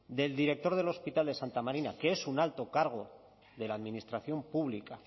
del director del hospital de santa marina que es un alto cargo de la administración pública